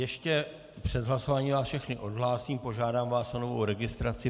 Ještě před hlasováním vás všechny odhlásím, požádám vás o novou registraci.